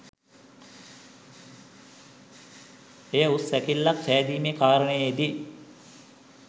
එය උස් සැකිල්ලක් සෑදීමේ කාරණයේ දී